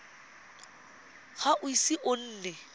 ga o ise o nne